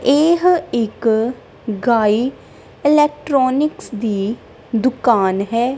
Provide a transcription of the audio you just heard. ਇਹ ਇੱਕ ਗਾਈ ਇਲੈਕਟਰੋਨਿਕਸ ਦੀ ਦੁਕਾਨ ਹੈ।